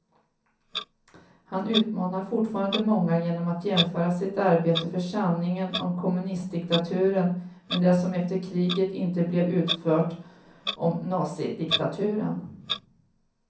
Han utmanar fortfarande många genom att jämföra sitt arbete för sanningen om kommunistdiktaturen med det som efter kriget inte blev utfört om nazidiktaturen.